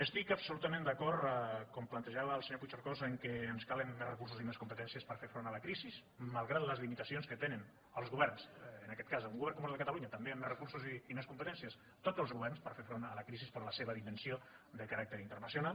estic absolutament d’acord com plantejava el senyor puigcercós que ens calen més recursos i més competències per fer front a la crisi malgrat les limitacions que tenen els governs en aquest cas un govern com el de catalunya també amb més recursos i més competències tots els governs per fer front a la crisi per la seva dimensió de caràcter internacional